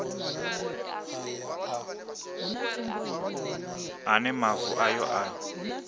a ne mavu ayo a